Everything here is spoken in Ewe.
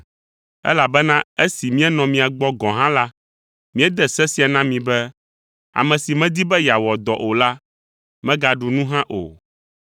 Elabena esi míenɔ mia gbɔ gɔ̃ hã la, míede se sia na mi be, “Ame si medi be yeawɔ dɔ o la, megaɖu nu hã o.”